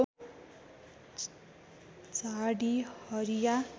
झाडी हरिया